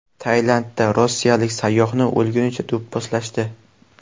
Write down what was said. Tailandda rossiyalik sayyohni o‘lgunicha do‘pposlashdi.